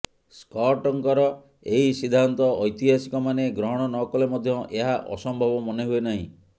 ସ୍କଟ୍ଙ୍କର ଏହି ସିଦ୍ଧାନ୍ତ ଐତିହାସିକମାନେ ଗ୍ରହଣ ନ କଲେ ମଧ୍ୟ ଏହା ଅସମ୍ଭବ ମନେହୁଏ ନାହିଁ